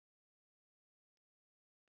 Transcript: Miðaverð á þjóðhátíð hækkar